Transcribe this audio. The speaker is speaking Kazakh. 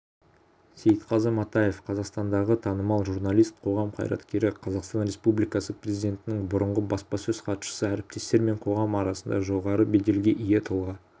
сейтқазы матаев қазақстандағы танымал журналист қоғам қайраткері қазақстан республикасы президентінің бұрынғы баспасөз хатшысы әріптестер мен қоғам арасында жоғары беделге ие тұлға